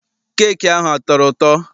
Keeki ahụ a tọrọ ụtọ?